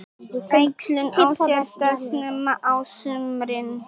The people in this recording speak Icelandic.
Æxlun á sér stað snemma á sumrin.